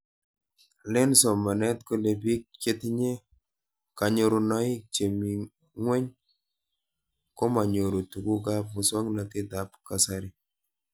Len somanet kole pik chetinye kanyorunoik chemii ng'weny komanyoru tuguk ab muswognatet ab kasari